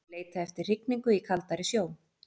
Þeir leita eftir hrygningu í kaldari sjó.